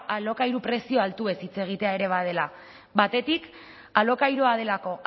alokairu prezio altuez hitz egitea ere badela batetik alokairua delako